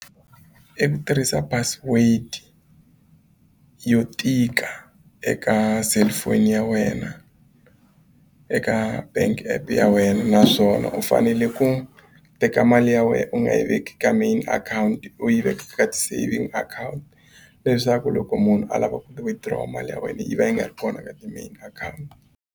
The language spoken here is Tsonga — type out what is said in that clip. I ku tirhisa password yo tika eka cellphone ya wena eka bank app ya wena naswona u fanele ku teka mali ya wena u nga yi veka ka main akhawunti u yi veke ka ti-saving account leswaku loko munhu a lava ku withdraw mali ya wena yi va yi nga ri kona ka ti-main account.